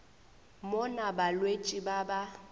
mo na balwetši ba ba